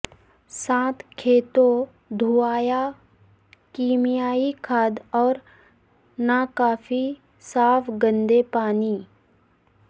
ساتھ کھیتوں دھویا کیمیائی کھاد اور ناکافی صاف گندے پانی